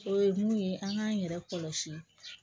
O ye mun ye an k'an yɛrɛ kɔlɔsi